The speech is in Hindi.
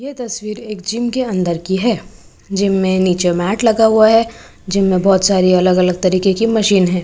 ये तस्वीर एक जिम के अंदर की है जिम नीचे मैट लगा हुआ है जिम में बहोत सारी अलग अलग तरीके की मशीन है।